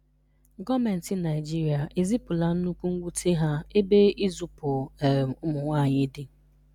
Gọọmenti Naịjirịa ezipụtala nnukwu nwute ha ebe izupu um ụmụnwaanyị dị.